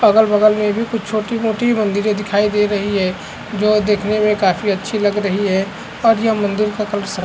अगल-बगल में भी कुछ छोटी-मोटी मंदिरे दिखाई दे रही हैं जो देखने में काफी अच्छी लग रही है और ये मंदिर का परिसर --